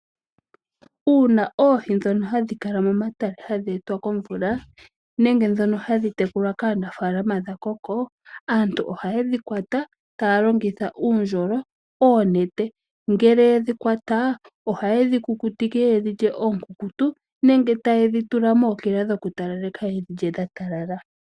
Uuna oohi ndhono hadhi kala momatale hadhi etwa komvula nenge ndhono hadhi tekulwa kaanafalama dha koko, aantu ohayedhi kwata taya longitha uundjolo noonete. Ngele yedhi kwata ohaye dhi kukutike ye dhi lye oonkunkutu nenge taye dhi tula mookila yedhi lye dha talala.